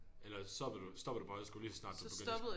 Eller stoppede du stoppede du på højskole lige så snart du begyndte